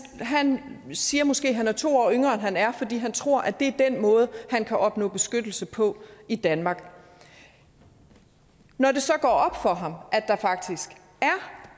han siger måske at han er to år yngre end han er fordi han tror det er den måde han kan opnå beskyttelse på i danmark når det så går op for ham